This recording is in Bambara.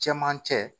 Cɛmancɛ